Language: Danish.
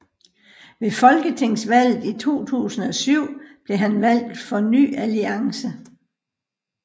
Ved folketingsvalget i 2007 blev han valgt for Ny Alliance